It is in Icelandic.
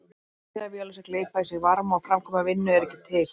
Eilífðarvélar sem gleypa í sig varma og framkvæma vinnu eru ekki til.